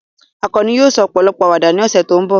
Akanni yóò sọ ọ̀pọ̀lọpọ̀ àwàdà ní ọ̀sẹ̀ tó ń bọ̀.